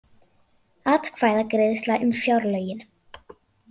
Atkvæðagreiðsla um fjárlögin